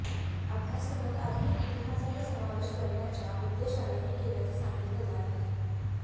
अभ्यासक्रमात आधुनिक इतिहासाचा समावेश करण्याच्या उद्देशानं हे केल्याचं सांगितलं जात आहे